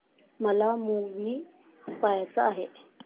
मला मूवी पहायचा आहे